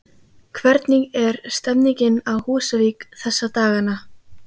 Hvernig er stemningin á Húsavík þessa dagana?